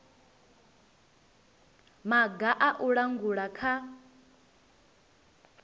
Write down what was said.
maga a u langula kha